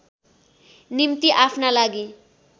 निम्ति आफ्ना लागि